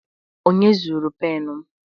Onye zuru m pen m?